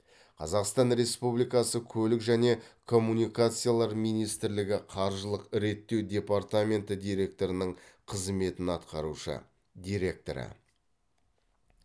қазақстан республикасы көлік және коммуникациялар министрлігі қаржылық реттеу департаменті директорының қызметін атқарушы директоры